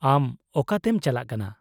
-ᱟᱢ ᱚᱠᱟᱛᱮᱢ ᱪᱟᱞᱟᱜ ᱠᱟᱱᱟ ?